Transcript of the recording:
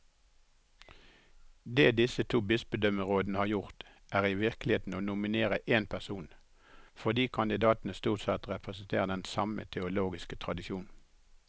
Det disse to bispedømmerådene har gjort, er i virkeligheten å nominere én person, fordi kandidatene stort sett representerer den samme teologiske tradisjon.